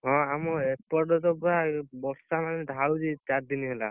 ହଁ ଆମ ଏପଟେ ତ ପୁରା ବର୍ଷା ମାନେ ଢାଳୁଛି ଚାରି ଦିନ ହେଲା